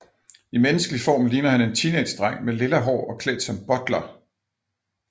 I menneskelig form ligner han en teenagedreng med lilla hår og klædt som butler